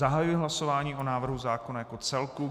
Zahajuji hlasování o návrhu zákona jako celku.